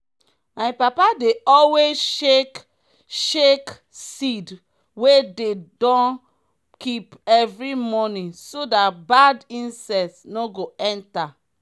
my papa dey always shake shake seed wey dey don keep evri month so dat bad insect nor go enter.